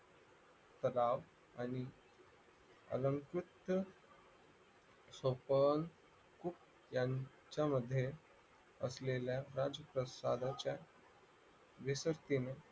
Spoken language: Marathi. राव आणि अलंकुच यांच्यामध्ये असलेल्या राजप्रासादाच्या निसक्तीने